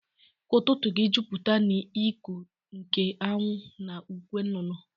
Ka ututu gi juputa n'iku nke anwu na ukwe nnụnụ